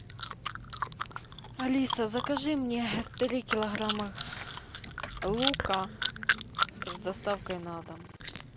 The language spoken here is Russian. алиса закажи мне три килограмма лука с доставкой на дом